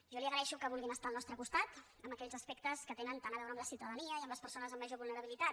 jo li agraeixo que vulguin estar al nostre costat en aquells aspectes que tenen tant a veure amb la ciutadania i amb les persones amb major vulnerabilitat